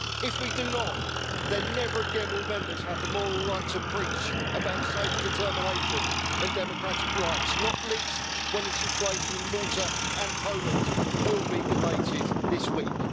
If we do not do so, then never again will Members have the moral right to preach about self determination and democratic rights, not least when the situation in Malta and Poland will be debated this week.